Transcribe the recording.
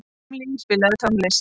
Emilý, spilaðu tónlist.